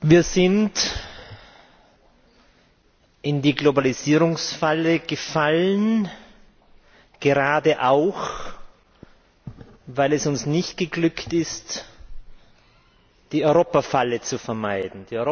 Wir sind in die Globalisierungsfalle gefallen, gerade auch, weil es uns nicht geglückt ist, die Europafalle zu vermeiden.